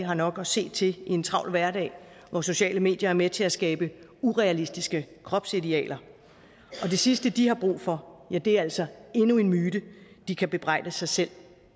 har nok at se til i en travl hverdag hvor sociale medier er med til at skabe urealistiske kropsidealer og det sidste de har brug for er altså endnu en myte de kan bebrejde sig selv